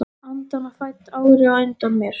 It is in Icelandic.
Andvana fædd, ári á undan mér.